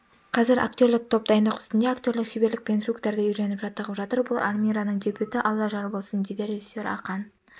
қазір актерлік топ дайындық үстінде актерлік шеберлік пен трюктарды үйреніп жаттығып жатыр бұл алмираның дебюті алла жар болсын дейді режисер ақан